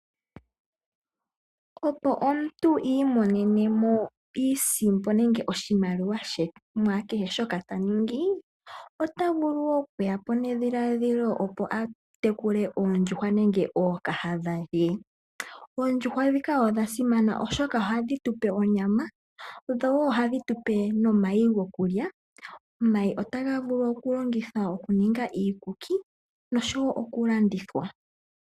Opo omuntu iimonene mo iisimpo nenge oshimaliwa she mu kehe shoka ta ningi ota vulu woo okuya po nedhiladhilo opo a tekule oondjuhwa nenge ookahadha ye. Oondjuhwa dhika odha simana oshoka ohadhi tu pe onyama, ndho woo ohadhi tu pe nomayi goku lya. Omayi otaga vulu oku longithwa oku ninga iikuki nosho wo oku landithwa.